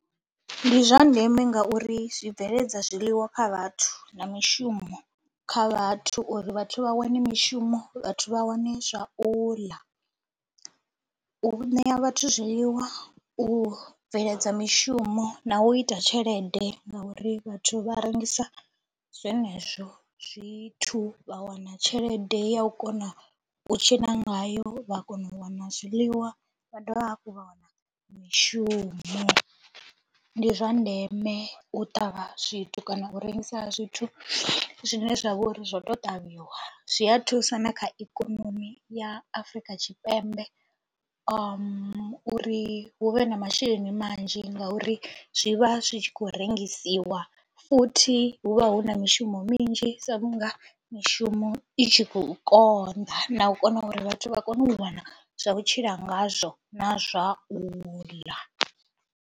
Ndi zwa ndeme ngauri zwi bveledza zwiḽiwa kha vhathu na mishumo kha vhathu uri vhathu vha wane mishumo vhathu vha wane zwa u ḽa, u ṋea vhathu zwiḽiwa, u bveledza mishumo na u ita tshelede ngauri vhathu vha rengisa zwenezwo zwithu vha wana tshelede ya u kona u tshila ngayo, vha kona u wana zwiḽiwa vha dovha hafhu vha wana mishumo. Ndi zwa ndeme u ṱavha zwithu kana u rengisa zwithu zwine zwa vho ri zwo tou ṱavhiwa, zwi a thusa na kha ikonomi ya Afrika Tshipembe uri hu vhe na masheleni manzhi ngauri zwi vha zwi tshi khou rengisiwa futhi hu vha hu na mishumo minzhi sa vhunga mishumo i tshi khou konḓa na u kona uri vhathu vha kone u wana zwa vhutshila ngazwo na zwa u ḽa.